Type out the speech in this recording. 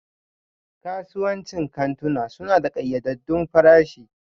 Kasuwancin kantuna suna da ƙayyadaddun farashi